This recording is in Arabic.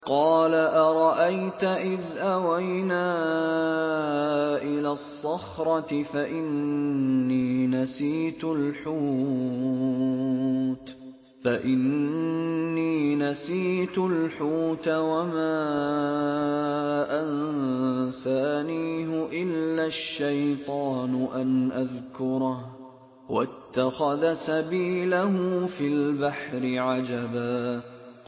قَالَ أَرَأَيْتَ إِذْ أَوَيْنَا إِلَى الصَّخْرَةِ فَإِنِّي نَسِيتُ الْحُوتَ وَمَا أَنسَانِيهُ إِلَّا الشَّيْطَانُ أَنْ أَذْكُرَهُ ۚ وَاتَّخَذَ سَبِيلَهُ فِي الْبَحْرِ عَجَبًا